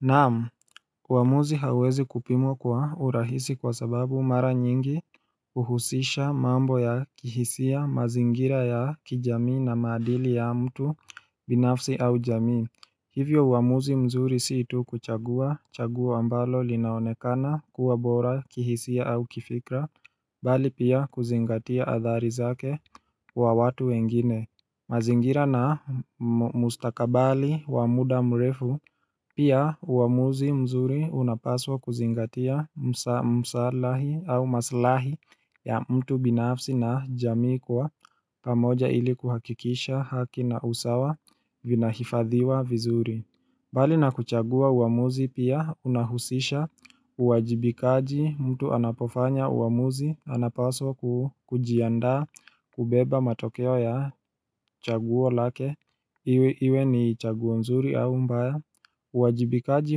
Naam, uamuzi hauwezi kupimwa kwa urahisi kwa sababu mara nyingi uhusisha mambo ya kihisia mazingira ya kijamii na maadili ya mtu binafsi au jamii. Hivyo uamuzi mzuri si tu kuchagua chaguo ambalo linaonekana kuwa bora kihisia au kifikra, bali pia kuzingatia adhari zake wa watu wengine mazingira na mustakabali wa muda mrefu pia uamuzi mzuri unapaswa kuzingatia msalahi au masalahi ya mtu binafsi na jamii kuwa pamoja ili kuhakikisha haki na usawa vinahifadhiwa vizuri. Bali na kuchagua uamuzi pia unahusisha uwajibikaji mtu anapofanya uamuzi anapaswa kujiandaa kubeba matokeo ya chaguo lake Iwe ni chaguo nzuri au mbaya uwajibikaji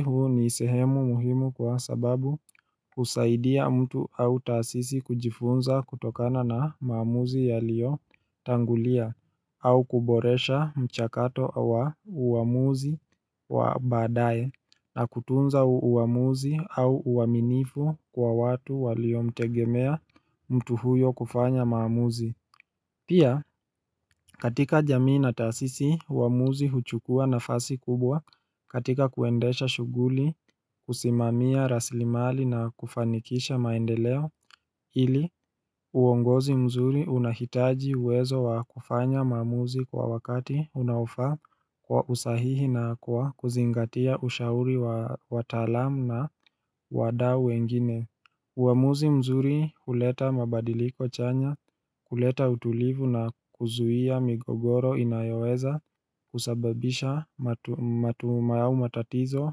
huu ni sehemu muhimu kwa sababu husaidia mtu au taasisi kujifunza kutokana na maamuzi yaliyo tangulia au kuboresha mchakato wa uamuzi wa baadaye na kutunza uamuzi au uaminifu kwa watu waliomtegemea mtu huyo kufanya maamuzi. Pia katika jamii na taasisi uamuzi huchukua nafasi kubwa katika kuendesha shughuli kusimamia rasilimali na kufanikisha maendeleo ili uongozi mzuri unahitaji uwezo wa kufanya maamuzi kwa wakati unaofaa kwa usahihi na kwa kuzingatia ushauri wa watalamu na wadau wengine. Uamuzi mzuri huleta mabadiliko chanya kuleta utulivu na kuzuia migogoro inayoweza kusababisha matuma au matatizo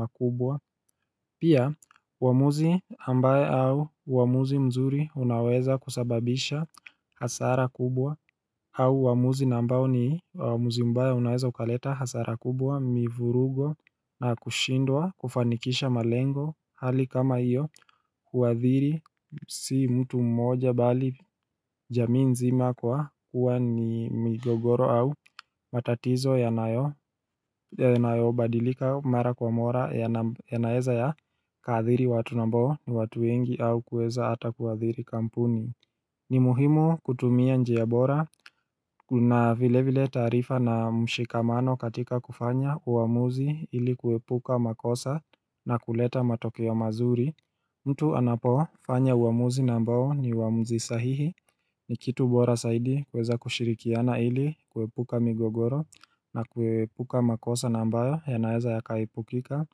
makubwa Pia uamuzi ambaye au uamuzi mzuri unaweza kusababisha hasara kubwa au uamuzi na ambao ni uamuzi mbaya unaweza ukaleta hasara kubwa mivurugo na kushindwa kufanikisha malengo hali kama hiyo kuadhiri si mtu mmoja bali jamii nzima kwa kuwa ni migogoro au matatizo yanayobadilika mara kwa mara yanaeza yakaadhiri watu na ambao ni watu wengi au kuweza hata kuadhiri kampuni ni muhimu kutumia njia bora na vile vile taarifa na mshikamano katika kufanya uamuzi ili kuepuka makosa na kuleta matokeo mazuri mtu anapo fanya uamuzi na ambao ni uamuzi sahihi ni kitu bora zaidi kuweza kushirikiana ili kuepuka migogoro na kuepuka makosa na ambayo yanaeza yakaepukika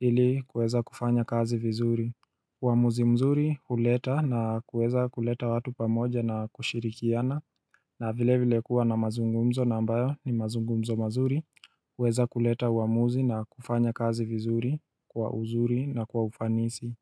ili kuweza kufanya kazi vizuri uamuzi mzuri huleta na kuweza kuleta watu pamoja na kushirikiana na vile vile kuwa na mazungumzo na ambayo ni mazungumzo mazuri huweza kuleta uamuzi na kufanya kazi vizuri kwa uzuri na kwa ufanisi.